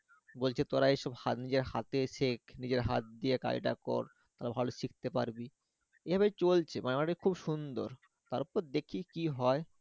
বলছে তোরা এইসব হাত দিয়ে হাতে শেখ নিজের হাতদিয়ে কাজটা কর তা ভালো শিখতে পারবি এভাবেই চলছে মানে খুব সন্দর, তারপর দেখি কি হয়?